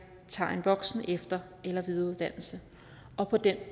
tager en voksen efter eller videreuddannelse og på den